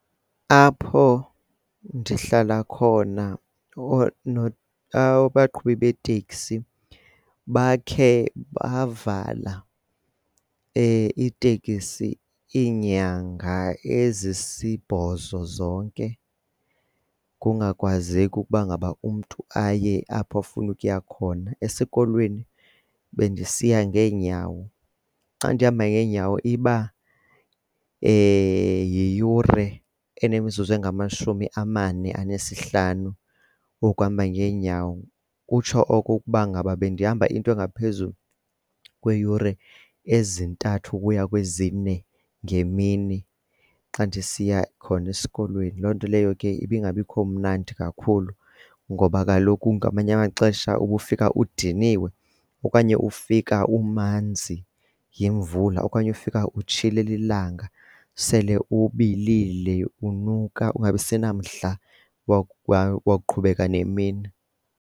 Apho ndihlala khona abaqhubi beeteksi bakhe bavala iitekisi iinyanga ezisibhozo zonke kungakwazeki kukuba ngaba umntu aye apho afuna ukuya khona. Esikolweni bendisiya ngeenyawo. Xa ndihamba ngeenyawo iba yiyure enemizuzu engamashumi amane anesihlanu okuhamba ngeenyawo kutsho oko ukuba ngaba ebendihamba into engaphezulu kweeyure ezintathu ukuya kwezine ngemini xa ndisiya khona esikolweni. Loo nto leyo ke ibingabikho mnandi kakhulu ngoba kaloku ngamanye amaxesha ubufika udiniwe okanye ufika umanzi yimvula, okanye ufika utshile lilanga sele ubilile, unuka ungabi senamdla wakuqhubeka nemini.